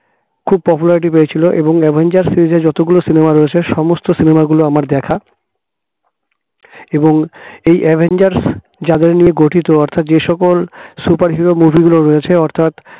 খুব popularity পেয়েছিল এবং avengers series র যতগুলো cinema রয়েছে সমস্ত cinema গুলো আমার দেখা এবং এই avengers যাদের নিয়ে গঠিত অর্থাৎ যে সকল superhero movie গুলো রয়েছে অর্থাৎ